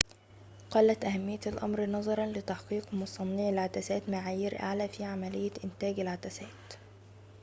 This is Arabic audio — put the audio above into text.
قلت أهمية الأمر نظراً لتحقيق مصنعي العدسات معايير أعلى في عملية إنتاج العدسات